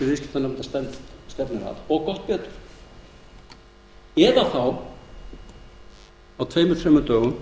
viðskiptanefndar stefnir að og gott betur eða að skapa á tveimur þremur dögum